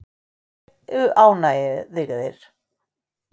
Allir séu ánægðir.